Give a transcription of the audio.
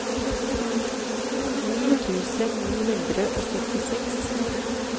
ni tusen ni hundre og syttiseks